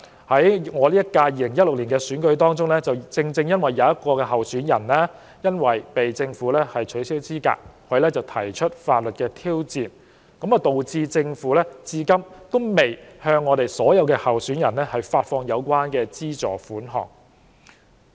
可是，由於在2016年選舉中，一位候選人因被政府取消資格而提出法律挑戰，導致政府至今仍未向所有候選人發放相關資助款項。